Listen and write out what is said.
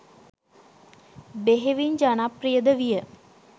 බෙහෙවින් ජනප්‍රියද විය.